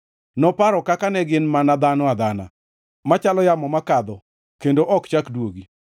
Noparo kaka ne gin mana dhano adhana machalo yamo makalo kendo ok chak duogi.